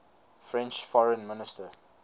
french foreign minister